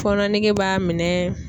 Fɔnɔ nege b'a minɛɛɛ.